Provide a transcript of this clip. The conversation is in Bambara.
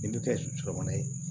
I bɛ kɛ sɔ kɔnɔ ye